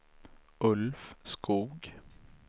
Ulf Skoog